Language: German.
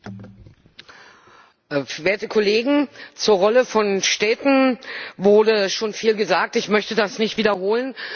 Frau Präsidentin, werte Kollegen! Zur Rolle von Städten wurde schon viel gesagt. Ich möchte das nicht wiederholen.